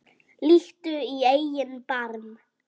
Líttu í eigin barm